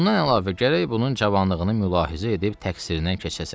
Bundan əlavə gərək bunun cavanlığını mülahizə edib təqsirindən keçəsən.